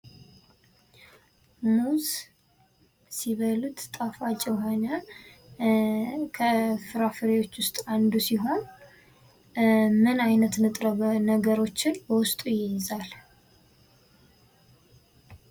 ሙዝ ሲበሉት ጣፋጭ የሆነ ከፍራፍሬዎች ውስጥ አንዱ ሲሆን ምን አይነት ንጥረ ነገሮችን በውስጡ ይይዛል ?